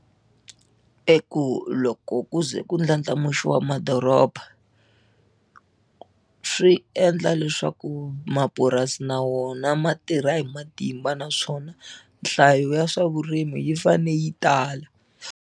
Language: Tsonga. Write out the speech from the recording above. I ku loko ku ze ku ndlandlamuxiwa madoroba swi endla leswaku mapurasi na wona ma tirha hi matimba naswona nhlayo ya swa vurimi yi fanele yi tala.